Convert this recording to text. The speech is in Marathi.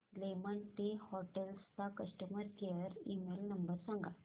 लेमन ट्री हॉटेल्स चा कस्टमर केअर ईमेल नंबर सांगा